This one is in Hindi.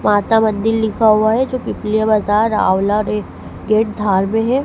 माता मंदिर लिखा हुआ है जो पिपली बाजार आंवला गेट धार में है।